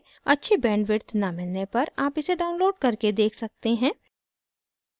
अच्छी bandwidth न मिलने पर आप इसे download करके देख सकते हैं